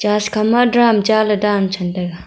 church khama drum chaley dan chamtaiga.